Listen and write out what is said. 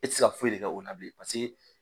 E tɛ se ka foyi de kɛ o la bilen